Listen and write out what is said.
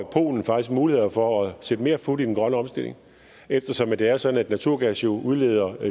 polen faktisk mulighed for at sætte mere fut i den grønne omstilling eftersom det er sådan at naturgas jo udleder